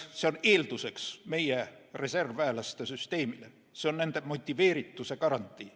See on eelduseks meie reservväelaste süsteemile, see on nende motiveerituse garantii.